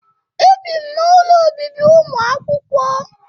Ebi m n'ụlọ obibi ụmụakwụkwọ